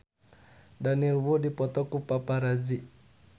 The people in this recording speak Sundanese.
Daniel Wu dipoto ku paparazi